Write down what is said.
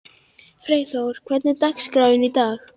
Freyþór, hvernig er dagskráin í dag?